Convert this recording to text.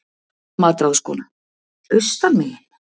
MATRÁÐSKONA: Austan megin?